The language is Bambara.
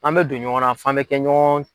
An bɛ don ɲɔgɔnna f'an bɛ kɛ ɲɔgɔn